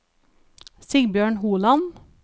Sigbjørn Holand